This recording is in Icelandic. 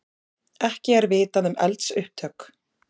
Ekki er vitað um eldsupptök